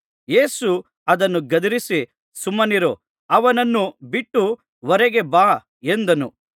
ಯೇಸು ಅದನ್ನು ಗದರಿಸಿ ಸುಮ್ಮನಿರು ಅವನನ್ನು ಬಿಟ್ಟು ಹೊರಗೆ ಬಾ ಎಂದನು